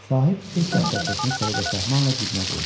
Sahib qeyd dəftərçəsini səliqə-səhmanla cibinə qoydu.